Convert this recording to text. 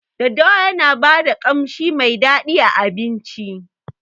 Daddawa Yana bada kanshi Mai dadi a abinci.